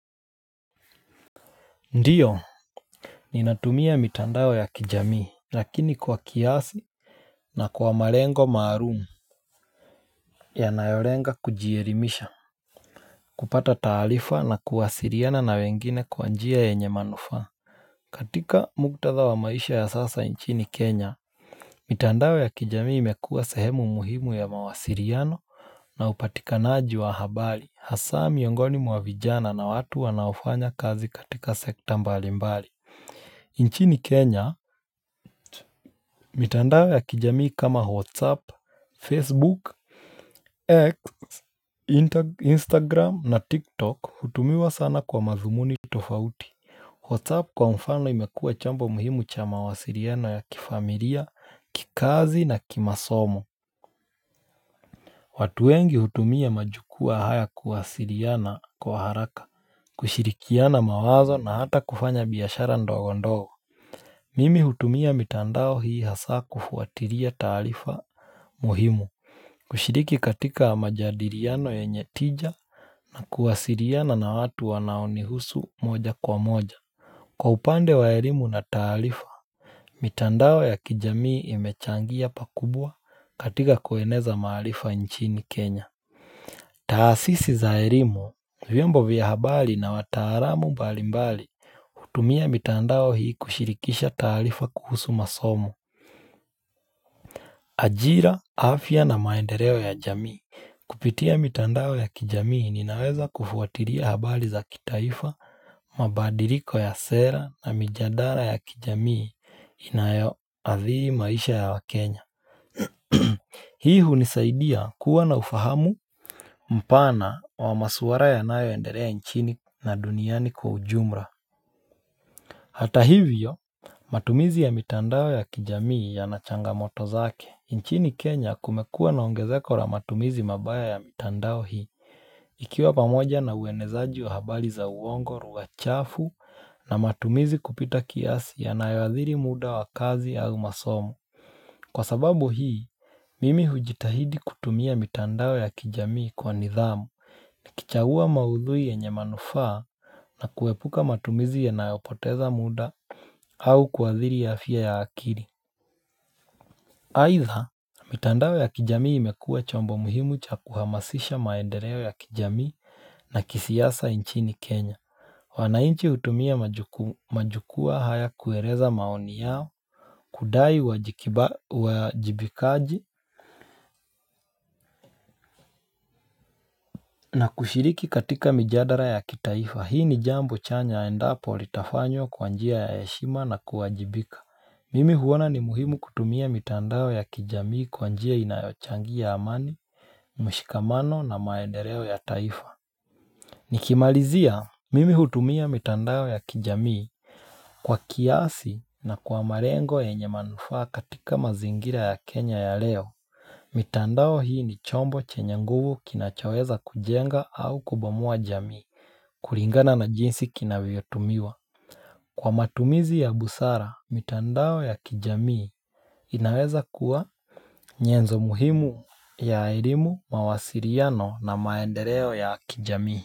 Ndiyo Ninatumia mitandao ya kijamii lakini kwa kiasi na kwa marengo maharumu Yanayorenga kujierimisha kupata taalifa na kuwasiliano na wengine kwa njia ya nye manufa katika muktatha wa maisha ya sasa inchini Kenya Yanayorenga kujierimisha kupata taalifa na kuwasiriana na wengine kwa njia ya nye manufa katika mugtatha wa maisha ya sasa inchini Kenya mitandao ya kijamii mekua sehemu muhimu ya mawasiriano na upatika naaji wa habari hasa miongoni mwavijana na watu wanaofanya kazi katika sekta mbali mbali mitandao ya kijamii mekua sehemu muhimu ya mawasiliano na upatika naaji wa habari hasa miongoni mwavijana na watu wanaofanya kazi katika sekta mbali mbali nchi ni Kenya, mitandao ya kijamii kama Whatsapp, Facebook, Instagram na TikTok hutumiwa sana kwa mazumuni tofauti Whatsapp kwa mfano imekuwa chambo muhimu cha mawasiriano ya kifamilia, kikazi na kimasomo watu wengi hutumia majukua haya kuwasiriana kwa haraka, kushirikiana mawazo na hata kufanya biashara ndogo ndogo Yanayorenga kujierimisha kupata taalifa na kuwasiriana na wengine kwa njia ya nye manufa katika mugtatha wa maisha ya sasa nchini Kenya Instagram na TikTok hutumiwa sana kwa mazumuni tofauti Whatsapp kwa mfano imekuwa chambo muhimu cha mawasiliano ya kifamilia, kikazi na kimasomo watu wengi hutumia majukua haya kuwasiliano kwa haraka, kushirikiana mawazo na hata kufanya biashara ndogo ndogo Hata hivyo, matumizi ya mitandao ya kijamii yana changamoto zake nchini Kenya kumekua naongezeko la matumizi mabaya ya mitandao hii Ikiwa pamoja na uenezaji wa habali za uongo lugha chafu na matumizi kupita kiasi ya nayoadhiri muda wa kazi au masomo Kwa sababu hii, mimi hujitahidi kutumia mitandao ya kijamii kwa nidhamu ni kichagua maudhui ya nyamanufaa na kuepuka matumizi ya nayopoteza muda au kwa athiri ya afya ya akili Aitha, mitandao ya kijamii imekua chombo muhimu cha kuhamasisha maendeleo ya kijamii na kisiyasa inchini Kenya Wanainchi utumia majukua haya kueleza maoni yao Kudai wajibikaji na kushiriki katika mjadala ya kitaifa. Hii ni jambo chanya endapo li tafanyo kwa njia ya heshima na kuwajibika Mimi huwana ni muhimu kutumia mitandao ya kijamii kwa njia inayochangia amani, mwishikamano na lya taifa. Nikimalizia, mimi hutumia mitandao ya kijamii kwa kiasi na kwa marengo enye manufaa katika mazingira ya Kenya ya leo. Mitandao hii ni chombo chenye nguvu kinachaweza kujenga au kubomoa jamii, kuringana na jinsi kinaviyotumiwa. Kwa matumizi ya busara mitandao ya kijamii inaweza kuwa nyezo muhimu ya elimu mawasiriano na maendeleo ya kijamii.